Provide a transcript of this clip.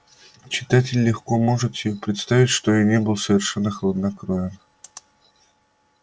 читатель легко может себе представить что я не был совершенно хладнокровен